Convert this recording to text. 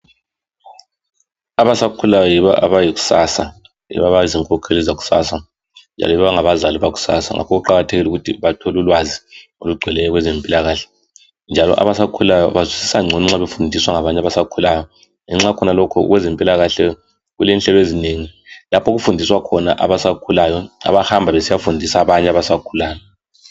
Abasakhulayo yibo abayikusasa, abazinkokheli zakusasa labazali bakusasa ngakho kuqakathekile ukuthi bathole ulwazi olugcweleyo ngezempilakahle. Abasakhulayo bazwisisa ngcono nxa befundiswa ngabanye abasakhulayo. Ngakho kwezempilakahle kulenhlelo ezinengi lapho okufundiswa khona abasakhulayo abahamba besiyafundisa abanye abasakhulayo.